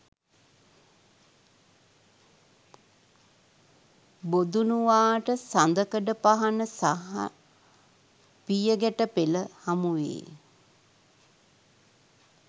බොදුණුවාට සඳකඩ පහණ සහ පියගැටපෙළ හමුවේ.